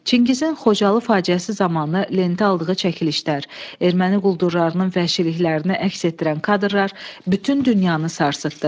Çingizin Xocalı faciəsi zamanı lentə aldığı çəkilişlər, erməni quldurlarının vəhşiliklərini əks etdirən kadrlar bütün dünyanı sarsıtdı.